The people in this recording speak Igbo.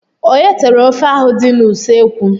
Onye tere ofe ahụ dị n'ụsọekwu?